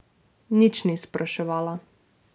Nič ni spraševala.